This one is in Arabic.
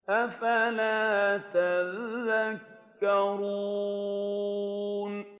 أَفَلَا تَذَكَّرُونَ